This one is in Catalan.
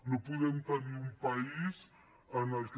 no podem tenir un país en què